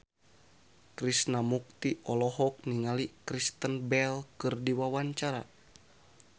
Krishna Mukti olohok ningali Kristen Bell keur diwawancara